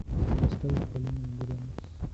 поставь полину гренц